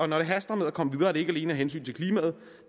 når det haster med at komme videre er det ikke alene af hensyn til klimaet